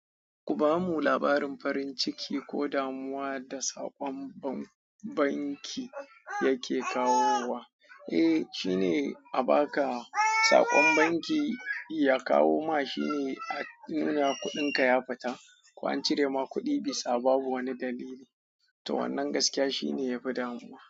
Ku bamu labarin farin ciki ko damuwa da saƙon banki yake kawo wa. Eh, shine a ba ka saƙon banki ya kawo ma shine a nuna kuɗin ka ya fita ko an cire ma kuɗi bisa babu wani dalili. To wannan gaskiya shine yafi damuwa.